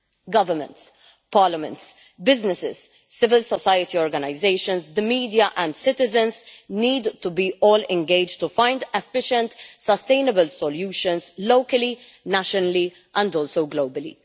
Governments, parliaments, businesses, civil society organisations, the media and citizens need to be all engaged to find efficient sustainable solutions locally, nationally and also globally.